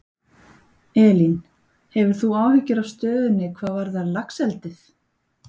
Elín: Hefur þú áhyggjur af stöðunni, hvað varðar laxeldið?